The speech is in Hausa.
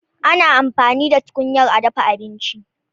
Ana amfani da tukunyar a dafa abinci.